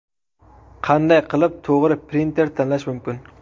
Qanday qilib to‘g‘ri printer tanlash mumkin?.